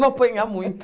Não apanhar muito.